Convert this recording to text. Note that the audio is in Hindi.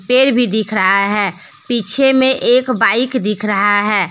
पेड़ भी दिख रहा है पीछे में एक बाइक दिख रहा है।